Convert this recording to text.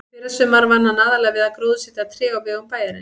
Í fyrrasumar vann hann aðallega við að gróðursetja tré á vegum bæjarins.